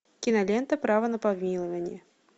кинолента право на помилование